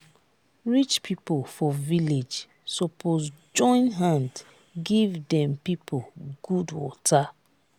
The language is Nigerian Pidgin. rich pipo for village suppose join hand give dem pipo good water.